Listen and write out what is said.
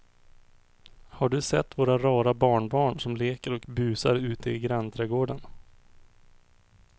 Har du sett våra rara barnbarn som leker och busar ute i grannträdgården!